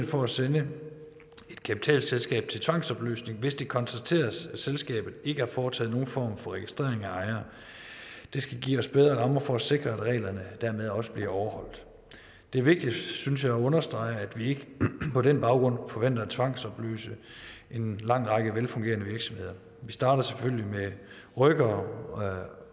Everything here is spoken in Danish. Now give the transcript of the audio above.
for at sende et kapitalselskab til tvangsopløsning hvis det konstateres at selskabet ikke har foretaget nogen form for registrering af ejere det skal give os bedre rammer for at sikre at reglerne dermed også bliver overholdt det er vigtigt synes jeg at understrege at vi ikke på den baggrund forventer at tvangsopløse en lang række velfungerende virksomheder vi starter selvfølgelig med rykkere